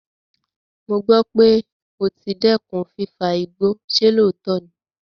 Mo gbọ́ pé o ti dẹ́kun fífa igbó, ṣe lóòótọ́ ni?